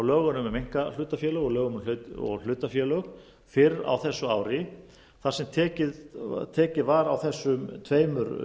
lögunum um einkahlutafélög og lögunum um hlutafélög fyrr á þessu ári þar sem tekið var á þessum tveimur